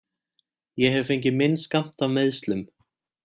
Ég hef fengið minn skammt af meiðslum.